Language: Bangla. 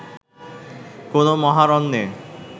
কোনো মহারণ্যে